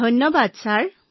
ধন্যবাদ মহোদয়